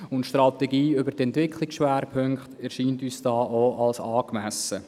Die Strategie bezüglich der ESP erscheint uns ebenfalls angemessen.